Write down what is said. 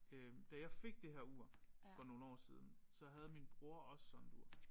Øh da jeg fik det her ur for nogle år siden så havde min bror også sådan et ur